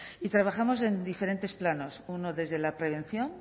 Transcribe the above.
y trabajamos en diferentes planos uno desde la prevención